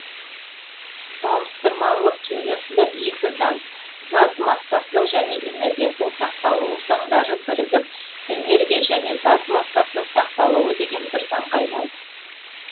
салыстырмалылық теориясында екі заң зат массасының және энергиясының сақталуы заңдары бірігіп энергия және зат массасының сақталуы деген бір заңға айналды